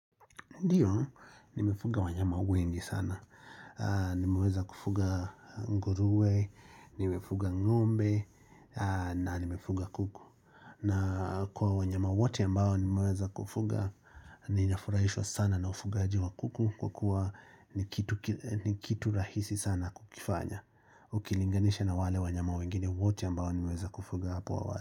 Ndiyo nimefuga wanyama wengi sana, nimeweza kufuga nguruwe, nimefuga ngombe na nimefuga kuku. Na kwa wanyama wote ambao nimeweza kufuga, ninafurahishwa sana na ufugaji wa kuku kwa kuwa ni kitu rahisi sana kukifanya. Ukilinganisha na wale wanyama wengine wote ambao nimeweza kufuga hapo awali.